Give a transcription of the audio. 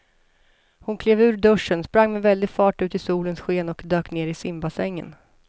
Hon klev ur duschen, sprang med väldig fart ut i solens sken och dök ner i simbassängen.